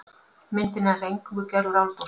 Myndin er nær eingöngu gerð úr áldósum.